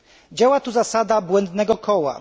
Działa tu zasada błędnego koła.